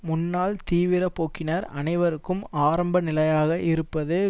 முன்னாள் தீவிர போக்கினர் அனைவருக்கும் ஆரம்ப நிலையாக இருப்பது